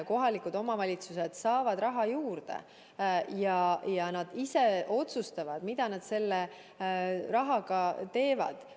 Kohalikud omavalitsused saavad raha juurde ja nad ise otsustavad, mida nad selle rahaga teevad.